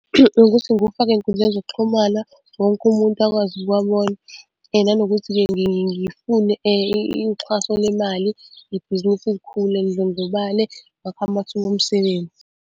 Ukuthi ngiwufake ey'nkundleni zokuxhumana, wonke umuntu akwazi ukuwabona, nanokuthi-ke ngifune uxhaso lemali ibhizinisi likhule lidlondlobale kwakhiwe amathuba omsebenzi.